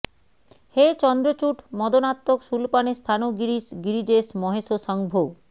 হে চন্দ্রচূড মদনান্তক শূলপাণে স্থাণো গিরীশ গিরিজেশ মহেশ শংভো